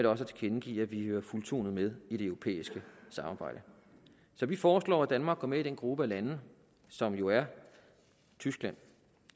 også tilkendegive at vi hører fuldtonet med i det europæiske samarbejde så vi foreslår at danmark går med i den gruppe af lande som jo er tyskland